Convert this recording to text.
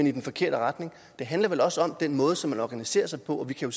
i den forkerte retning det handler vel også om den måde som man organiserer sig på vi kan